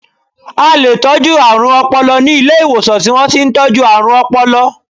A leè tọ̀jú àrùn ọpọlọ ni Ilé ìwòsàn ti wọ́n ti n tọ́jú àrùn ọpọlọ